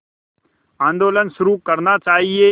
आंदोलन शुरू करना चाहिए